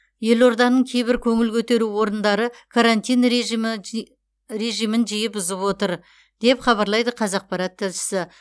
елорданың кейбір көңіл көтеру орындары карантин режимін жиі бұзып отыр деп хабарлайды қазақпарат тілшісі